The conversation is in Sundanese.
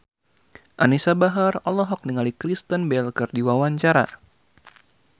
Anisa Bahar olohok ningali Kristen Bell keur diwawancara